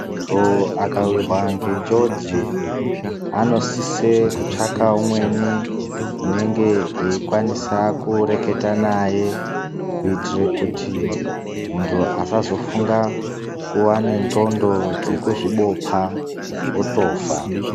Muntu akawirwa nenjodzi anosisa kutsvaka umweni unenge eikwanisa kureketa naye kuitira kuti muntu asazofunga kuva nenxondo dzeku zvibopa otofa.